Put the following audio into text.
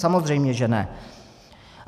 Samozřejmě že ne.